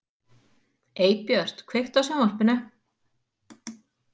Eybjört, kveiktu á sjónvarpinu.